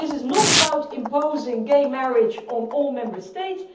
This is not about imposing gay marriage on all Member States.